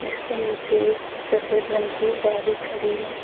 इसके नीचे एक सफेद रंग की गाड़ी खड़ी है।